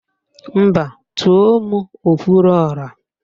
Mba, tùó mụ okwuruọra